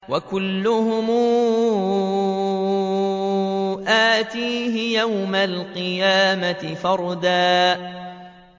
وَكُلُّهُمْ آتِيهِ يَوْمَ الْقِيَامَةِ فَرْدًا